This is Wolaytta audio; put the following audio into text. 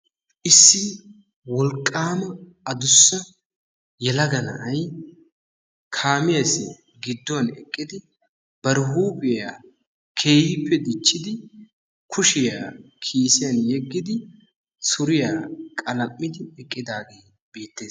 issi wolqqaama adussa yelaga na'ay kaamiyassi gidduwan eqqidi bari huuphiya keehippe dichidi kushiya kiisiyan yeggidi suriya qalam'idi eqqidaagee beetees.